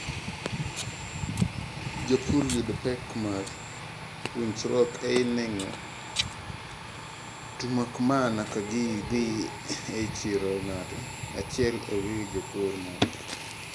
jopur yudo pek mar winjruok ei neng'o to makmana ka gi dhii ei chiro ng'ato achiel ee wii jopur moko